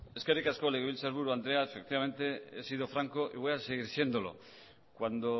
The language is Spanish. eskerrik asko legebiltzarburu andrea efectivamente he sido franco y voy a seguir siéndolo cuando